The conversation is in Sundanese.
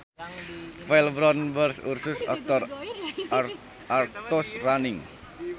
File Brown bear Ursus arctos arctos running